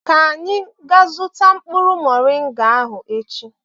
ka anyị gaa zụta mkpụrụ moringa ahụ echi.